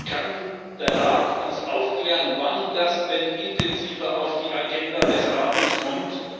tun. Kann der Rat uns aufklären, wann das denn intensiver auf die Agenda des Rates